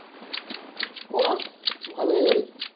কৰা, ভালেই গাড়ী।